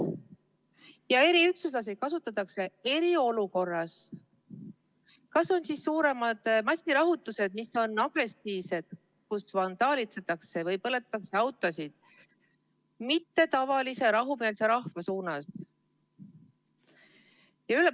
Ja eriüksuslasi kasutatakse eriolukorras: kui on suuremad massirahutused, mis on agressiivsed, kui vandaalitsetakse või põletatakse autosid, mitte tavalise rahumeelse rahva vastu.